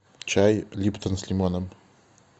чай липтон с лимоном